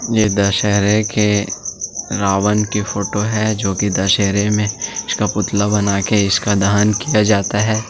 इसमें दशहरे के रावण की फोटो है जो की दशहरे में उसका पुतला बनाकर इसका दहन किया जाता है।